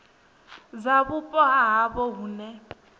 dza vhupo ha havho hune